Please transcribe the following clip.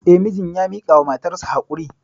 Eh, mijin ya miƙawa matarsa haƙuri.